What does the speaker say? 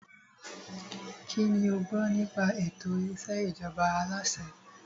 Kínní o gbọ́ nípa ètò ìṣèjọba aláṣẹ?